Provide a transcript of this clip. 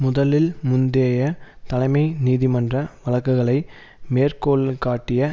முதலில் முந்தைய தலைமை நீதிமன்ற வழக்குகளை மேற்கோள்காட்டிய